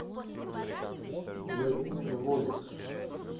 владимир волик